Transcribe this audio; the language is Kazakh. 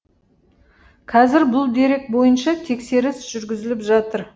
қазір бұл дерек бойынша тексеріс жүргізіліп жатыр